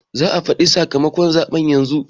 za a faɗi sakamakon zaɓe yanzu